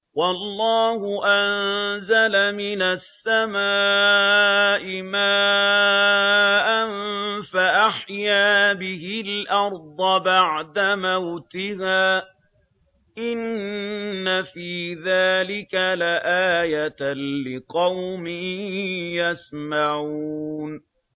وَاللَّهُ أَنزَلَ مِنَ السَّمَاءِ مَاءً فَأَحْيَا بِهِ الْأَرْضَ بَعْدَ مَوْتِهَا ۚ إِنَّ فِي ذَٰلِكَ لَآيَةً لِّقَوْمٍ يَسْمَعُونَ